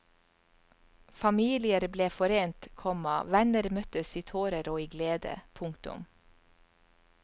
Familier ble forent, komma venner møttes i tårer og i glede. punktum